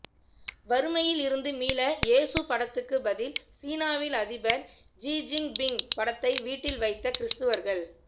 வறுமையில் இருந்து மீள இயேசு படத்துக்குப் பதில் சீனாவில் அதிபர் ஜி ஜின்பிங் படத்தை வீட்டில் வைத்த கிறிஸ்தவர்கள்